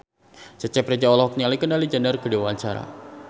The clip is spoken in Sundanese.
Cecep Reza olohok ningali Kendall Jenner keur diwawancara